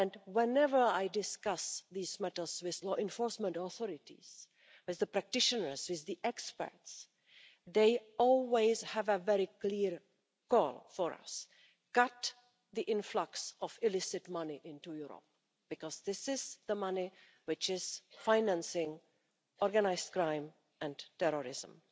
Whenever I discuss these matters with law enforcement authorities, with practitioners and experts, they always have a very clear goal for us cut the influx of illicit money into Europe because this is the money which is financing organised crime and terrorism.